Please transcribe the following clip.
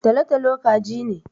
Tolo-tolo kaji ne.